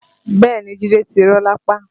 Bẹ́ẹ̀ni Jide ti rọ lápá